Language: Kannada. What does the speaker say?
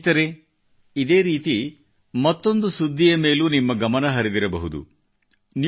ಸ್ನೇಹಿತರೆ ಇದೇ ರೀತಿ ಮತ್ತೊಂದು ಸುದ್ದಿಯ ಮೇಲೂ ನಿಮ್ಮ ಗಮನಹರಿದಿರಬಹುದು